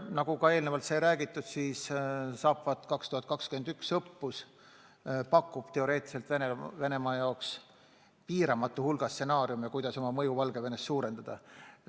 Nagu eelnevalt räägitud, Zapad 2021 õppus pakub teoreetiliselt Venemaa jaoks piiramatu hulga stsenaariume, kuidas oma mõju Valgevenes suurendada.